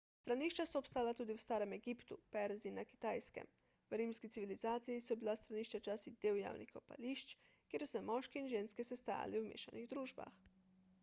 stranišča so obstajala tudi v starem egiptu perziji in na kitajske v rimski civilizaciji so bila stranišča včasih del javnih kopališč kjer so se moški in ženske sestajali v mešanih družbah